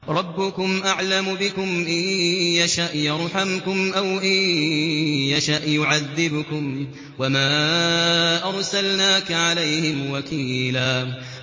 رَّبُّكُمْ أَعْلَمُ بِكُمْ ۖ إِن يَشَأْ يَرْحَمْكُمْ أَوْ إِن يَشَأْ يُعَذِّبْكُمْ ۚ وَمَا أَرْسَلْنَاكَ عَلَيْهِمْ وَكِيلًا